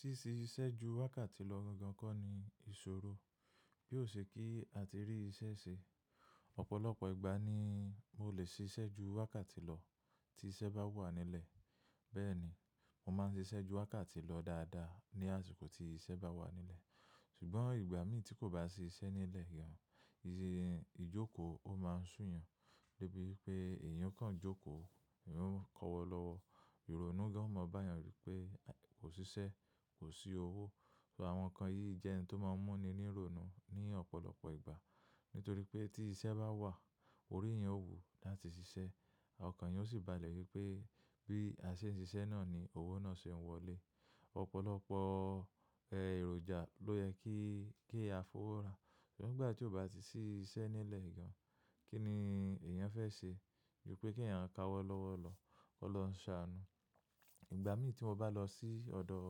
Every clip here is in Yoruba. Síse síṣẹ́ ju wákàtí lọ gan gan kọ́ ni ìṣòro bí ó ṣe kí àti rí iṣẹ́ ṣe. Ọ̀pọ̀lọpọ̀ ìgbà ni mo lè ṣiṣẹ́ ju wákàtí lọ tí iṣẹ́ bá wà nílẹ̀. Bẹ́ẹ̀ ni, mo máa ń ṣiṣẹ́ ju wákàtí lọ dáadáa ní àsìkò tí iṣẹ́ bá wà nílẹ̀. Ṣùgbọ́n ìgbà mí tí kò bá sì í ṣẹ́ nílẹ̀ gan, ìjókòó ó máa ń sú yan débi wípé èèyàn kan jókòó, èèyàn kọ́wọ́ lọ́wọ́. Ìrònú gan o ma bá yàn rí pé kò ṣiṣẹ́, kò sí owó. Ṣo àwọn nǹkan yìí jẹ́ oun tó máa ń mú ni ní ìrònú ní ọ̀pọ̀lọpọ̀ ìgbà? Nítorí pé tí iṣẹ́ bá wà, orí èèyàn ó wù láti ṣiṣẹ́. Àwọn nǹkan yìí ó sì balẹ̀ wípé bí a ṣe ń ṣiṣẹ́ náà ni owó náà ṣe ń wọlé. Ọ̀pọ̀lọpọ̀ èròjà ló yẹ kí kí a fowó ra. Ṣùgbọ́n ìgbà tí ó bá ti ṣiṣẹ́ nílẹ̀ gan, kí ni èèyàn fẹ́ ṣe? Wípé k'èèyàn ka wọ́ lọ́wọ́ lọ, k'ọlọhuń ṣàánú. Ìgbà mí tí mo bá lọ sí ọ̀dọ̀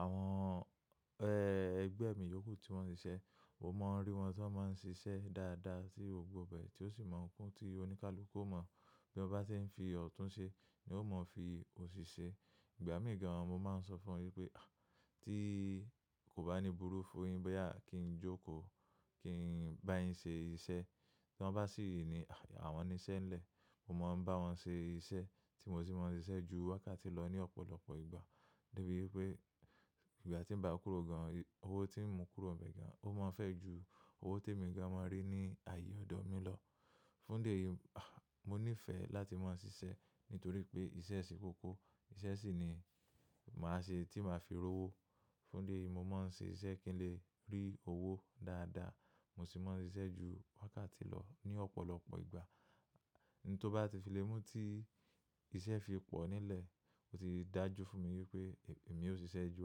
àwọn ẹgbẹ́ mi yòókù tí wọ́n ṣiṣẹ́, mo máa ń rí wọn tí wọ́n máa ń ṣiṣẹ́ dáadáa tí gbogbo bẹ̀ tí ó sì máa ń kún tí oníkálùkú ó mọ̀. Bí ó bá tí ń fi ọ̀tún ṣe ni ó mọ̀ fi òsì ṣe. Ìgbà mí gan an mo máa ń sọ fún wọn wípé, tí kò bá ní burú fún yín bóyá kí n jókòó kí n bá yín ṣe iṣẹ́. Tí wọ́n bá sì i ni, àwọn niṣẹ́ ńlẹ̀. Mo máa ń bá wọn ṣe iṣẹ́ tí mo sì máa ń ṣiṣẹ́ ju wákàtí lọ ní ọ̀pọ̀lọpọ̀ ìgbà. Débì wípé ìgbà tí ń bá kúrò gan, owó tí ń mú kúrò bẹ́ẹ̀ gan, ó máa ń fẹ́ ju owó tí èmi gan máa ń rí ní ààyè ọ̀dọ̀ mi lọ. Fún idi yìí, mo ní ìfẹ́ láti máa ṣiṣẹ́ nítorí pé iṣẹ́ ṣe kókó, iṣẹ́ sì ni màá ṣe tí màá fi rówó. Fún dé yìí mo máa ń ṣe iṣẹ́ kí n lè rí owó dáadáa. Mo sì máa ń ṣiṣẹ́ ju wákàtí lọ ní ọ̀pọ̀lọpọ̀ ìgbà. Ǹtó bá ti fi lẹ́ mú tí iṣẹ́ fi pọ̀ nílẹ̀, ó ti dájú fún mi wípé èmi ò ṣiṣẹ́ ju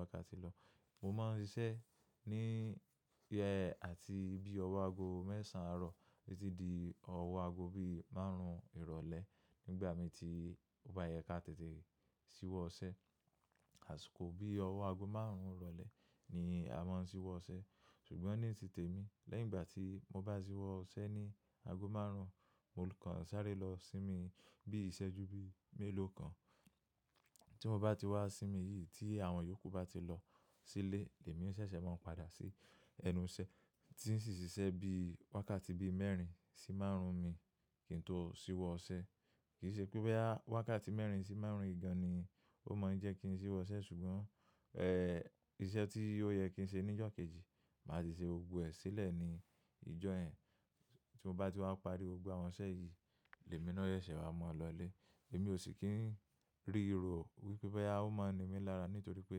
wákàtí lọ. Mo máa ń ṣiṣẹ́ ní àti bí ọwọ́ ago mẹ́sàn-án àárọ̀ títí di ọwọ́ ago bí márùn-ún ìrọ̀lẹ́ nígbà mí tí ó bá yẹ ká tètè ṣíwọ́ iṣẹ́. Àsìkò bí ọwọ́ ago márùn-ún ìrọ̀lẹ́ ni a máa ń ṣíwọ́ iṣẹ́. Ṣùgbọ́n ní titèmi, lẹ́yìn ìgbà tí mo bá ṣíwọ́ iṣẹ́ ní ago márùn-ún, mo kàn sáré lọ sí mi bí iṣẹ́ju bí i mélòó kan. Tí mo bá ti wá sí mi yìí tí àwọn yòókù bá ti lọ sílé, èmi ó ṣẹ̀ṣẹ̀ máa ń padà sí ẹnu iṣẹ́ tí ń ṣì ṣe iṣẹ́ bí wákàtí bí i mẹ́rin sí márùn-ún mi kí n tó ṣíwọ́ iṣẹ́. Kì í ṣe pé báyìí wákàtí mẹ́rin sí márùn-ún yìí gan ni ó mọ̀ ń jẹ́ kí n ṣíwọ́ iṣẹ́ ṣùgbọ́n iṣẹ́ tí ó yẹ kí n ṣe ní ìjọ́ kejì, màá ti ṣe gbogbo ẹ̀ sílẹ̀ ní ìjọ́ yen Tí mo bá ti wá parí gbogbo àwọn iṣẹ́ yìí, lẹ́míná yẹ̀ se ṣẹ̀ wá mọ́ lọlé. Èmi ò sì kí ń rí rọ̀ wípé boya o máa ni mí lára nítorí pé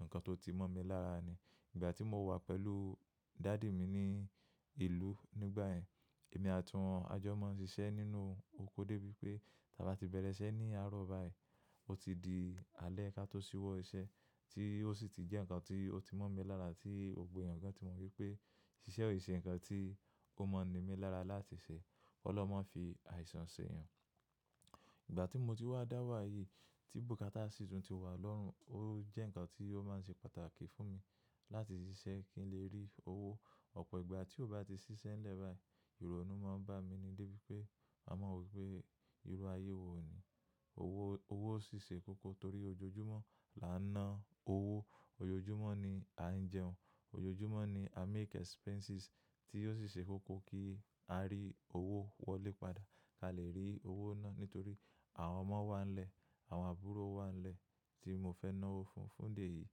nǹkan tó ti mọ́ mi lára ni. Ìgbà tí mo wà pẹ̀lú daddy mi ní ìlú nígbà yẹ́n, èmi àti wọn ajọ máa ń ṣiṣẹ́ nínú oko dé bí pé ta bá ti bẹ̀rẹ̀ iṣẹ́ ní àárọ̀ báyìí, ó ti di alẹ́ ká tó ṣíwọ́ iṣẹ́ tí ó sì ti jẹ́ nǹkan tí ó ti mọ́ mi lára tí gbogbo èèyàn gan tí mọ̀ wípé ṣiṣẹ́ ò ṣe nǹkan tí kò mọ̀ ní mi lára láti ṣe. k'Ọlọ́hun ma fi àìsàn ṣ'èèyàn. Ìgbà tí mo ti wá dá wà yìí tí búkátà sì tún ti wà lọ́rùn, ó jẹ́ nǹkan tí ó máa ń ṣe pàtàkì fún mi láti ṣiṣẹ́ kí n lè rí owó. Ọ̀pọ̀ ìgbà tí ó bá ti ṣiṣẹ́ lẹ́ báyìí, ìrònú máa ń bá mi ni dé bí pé ma mọ̀ wípé irú ayé wo ni. Owo owo si se koko tori ojoojumo laa n na owo ojoojumo ni a n jeun ojoojumo ni a n make expenses ti o si se koko ki a ri Owo wole pada ti a le ri owo na nitori awon omo wa nle awon aburo wa nle ti mo fe nawo fun fun di eyi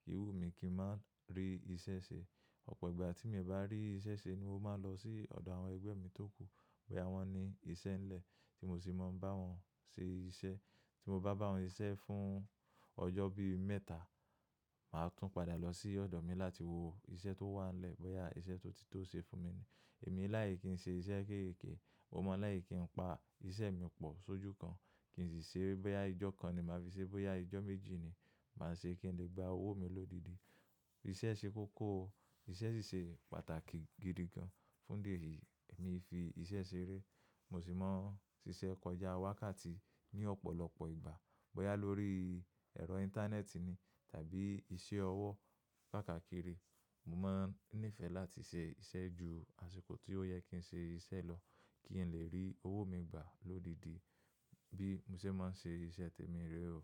ki yo wu mi ki n ma ri ise se opo igba ti mi o ba ri ise se ni mo maa n lo si odo awon egbe mi to ku boya won ni ise nle ti mo si maa n bawon se ise ti mo ba bawon sise fun ojo bi meta ma tun pada lo si odo mi lati wo ise to wa nle boya ise tun ti to se fun mi emi i like kin se ise kekeke mo maa n like kin pa ise mi po soju kan kin si se boya ijo kan ni ma fi se boya ijo meji ni maa se kin le gba owo ni lodidi ise se koko o Iṣẹ́ sì ṣe pàtàkì gidi gan. Fun di eyi emi i fi ise sere mo si maa n sise koja wakati ni lopolopo igba boya lori ero inteneeti tabi ise owo kaakakiri mo maa n nife lati se ise ju asiko ti o ye kin se ise lo kin le ri owo mi gba lodidi bi mo se maa n se ise temi ree o.